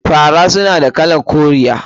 Fara suna da kalar koriya ta ainihi.